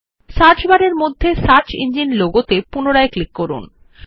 search বারের মধ্যে search engine logo উপর পুনরায় ক্লিক করুন